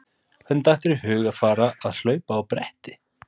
Hvernig datt þér í hug að fara að hlaupa á bretti?